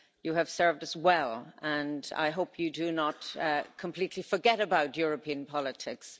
You have served us well and I hope you do not completely forget about European politics.